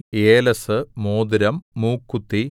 ഏലസ്സ് മോതിരം മൂക്കുത്തി